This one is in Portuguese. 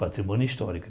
Patrimônio histórico.